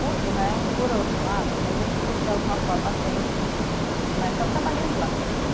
Por né, por outro lado, é gente que, de alguma forma tem né, está trabalhando lá no Chile.